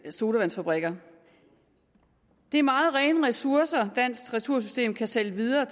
sodavandsfabrikkerne det er meget rene ressourcer dansk retursystem kan sælge videre